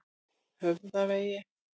Höfðavegi